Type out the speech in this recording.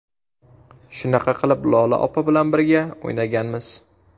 Shunaqa qilib Lola opa bilan birga o‘ynaganmiz.